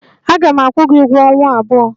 Aga m akwụ gị ụgwọ ọnwa abụọ.